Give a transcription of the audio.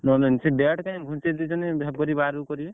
ନଅ ଦିନ ସିଏ date କାଇଁ ଘୁଞ୍ଚେଇ ଦେଇଛନ୍ତି ଫେବୃୟାରୀ ବାରକୁ କରିବେ?